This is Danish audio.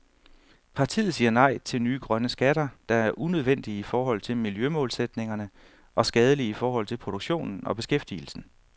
Partiet siger nej til nye grønne skatter, der er unødvendige i forhold til miljømålsætningerne og skadelige i forhold til produktionen og beskæftigelsen.